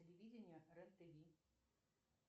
телевидения рен тв